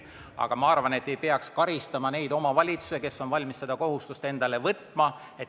Aga ma arvan, et ei peaks karistama neid omavalitsusi, kes on valmis seda kohustust endale võtma.